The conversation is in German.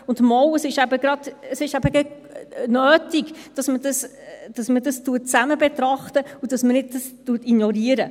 Doch, es ist eben gerade nötig, dass man dies zusammen betrachtet und es nicht ignoriert.